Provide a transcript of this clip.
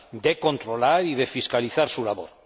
de controlar y de fiscalizar su labor.